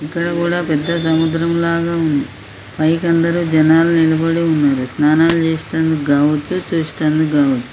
ఇక్కడ కూడా పెద్ద సముద్రం లాగా ఉంది. పైకి అందరూ జనాలు నిలబడి ఉన్నారు. స్నానాలు చేస్తానికి కావచ్చు చూడటానికి కావచ్చు